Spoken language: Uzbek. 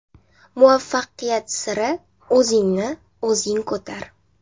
Muvaffaqiyat siri: O‘zingni o‘zing ko‘tar.